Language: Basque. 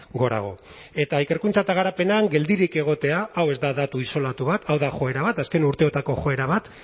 gorago eta ikerkuntza eta garapenean geldirik egotea hau ez da datu isolatu bat hau da joera bat azken urteotako joera bat